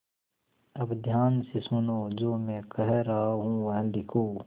अब ध्यान से सुनो जो मैं कह रहा हूँ वह लिखो